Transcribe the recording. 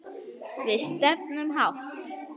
Við stefnum hátt.